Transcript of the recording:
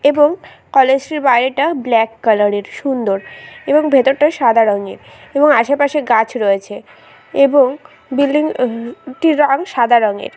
এবং কলেজ টির বাইরেটা ব্ল্যাক কালার -এর সুন্দর এবং ভেতরটা সাদা রঙের এবং আশেপাশে গাছ রয়েছে এবং বিল্ডিং হ হ টির রং সাদা রঙের।